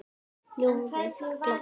Ljóðið gladdi.